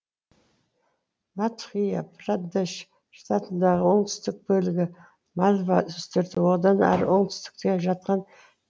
мадхъя прадеш штатындағы оңтүстік бөлігі малва үстірті одан ары оңтүстікте жатқан